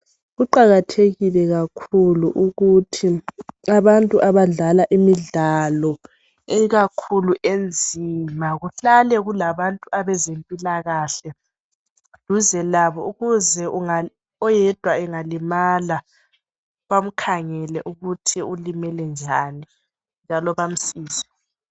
Kuqakathekile kakhulu ukuthi abantu abdlala imidlalo ikakhulu enzima kuhlale kulabantu abezempilakahle duze labo ukuze oyedwa engalimala bamkhangele ukuthi ulimele njani njalo bemsize.